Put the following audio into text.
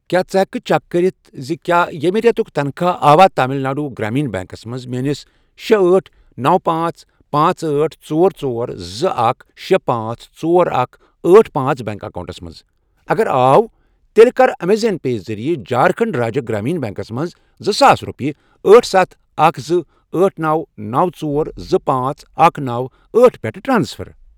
کیٛاہ ژٕ ہٮ۪کہٕ کھہ چیک کٔرِتھ زِ کیٛاہ ییٚمہِ رٮ۪تُک تنخواہ آوا تامِل ناڈوٗ گرٛاما بیٚنٛکس منٛز میٲنِس شے، أٹھ، نوَ، پانژھ، پانژھ، أٹھ، ژور، ژور، زٕ، اکھ، شے، پانژھ، ژور، اکھَ، أٹھ، پانژھ، بینک آکاونٹَس منٛز، اگر آو تیٚلہِ کَر اَمیزن پے ذٔریعہٕ جھارکھنٛڈ راجیہ گرٛامیٖن بیٚنٛکس منٛز زٕساس رۄپیہِ أٹھ، ستھَ، اکھَ، زٕ، أٹھ، نوَ، نوَ، ژور، زٕ، پانژھ، اکھَ، نوَ، أٹھ، پٮ۪ٹھ ٹرانسفر؟